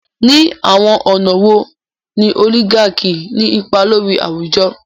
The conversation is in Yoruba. Ní àwọn ọ̀nà wo ni oligarchy ní ipa lórí àwùjọ?